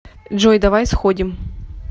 джой давай сходим